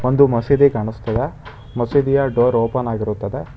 ಒಂದು ಮಸೀದಿ ಕಾಣಿಸ್ತಾ ಇದೆ ಮಸೀದಿಯ ಡೋರ್ ಓಪನ್ ಆಗಿ ಇರುತ್ತದೆ.